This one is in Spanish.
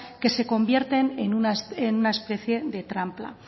que se convierten en una especie de trampa